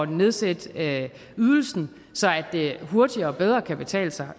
nedsætte ydelsen så det hurtigere og bedre kan betale sig